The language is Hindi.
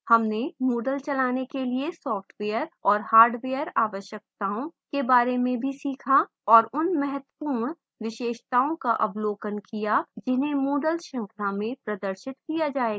हमने moodle चलाने के लिए सॉफ़्टवेयर और हार्डवेयर आवश्यकताओं के बारे में भी सीखा और उन महत्वपूर्ण विशेषताओं का अवलोकन किया जिन्हें moodle श्रृंखला में प्रदर्शित किया जाएगा